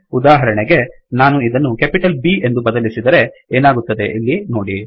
ಉದಾಹರಣೆಗೆ ನಾನು ಇದನ್ನು ಕೆಪಿಟಲ್ B ಎಂದು ಬದಲಿಸಿದರೆ ಏನಾಗುತ್ತದೆ ಇಲ್ಲಿ ನೋಡಿ